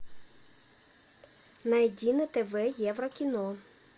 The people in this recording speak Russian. найди на тв еврокино